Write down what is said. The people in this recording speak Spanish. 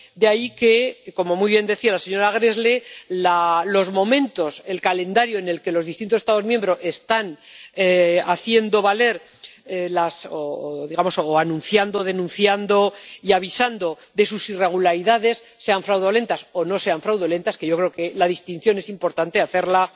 De ahí que, como muy bien decía la señora Gräßle, los momentos, el calendario en el que los distintos Estados miembros están haciendo valer o anunciando, denunciando y avisando de sus irregularidades —sean fraudulentas o no sean fraudulentas, que yo creo que la distinción es importante hacerla